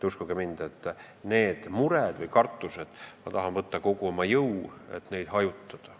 Uskuge mind, need mured või kartused on alusetud ja ma tahan kokku võtta kogu oma jõu, et neid hajutada.